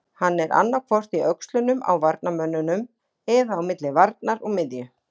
Hann er annaðhvort í öxlunum á varnarmönnunum eða á milli varnar og miðju.